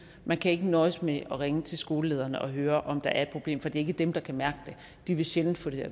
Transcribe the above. man kan ikke nøjes med at ringe til skolelederne og høre om der er et problem for det er ikke dem der kan mærke det de vil sjældent få det